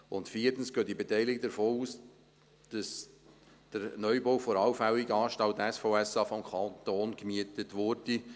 Und viertens gehen die Beteiligten von aus, dass der Neubau der allfälligen Anstalt SVSA vom Kanton gemietet würde.